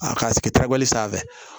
A ka sigi tabali sanfɛ